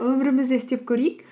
өмірімізде істеп көрейік